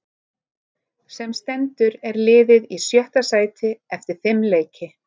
Sem stendur er liðið í sjötta sæti eftir fimm leiki.